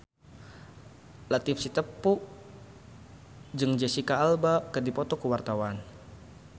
Latief Sitepu jeung Jesicca Alba keur dipoto ku wartawan